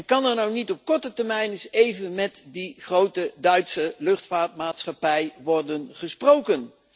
Kan er nou niet op korte termijn eens even met die grote Duitse luchtvaartmaatschappij worden gesproken?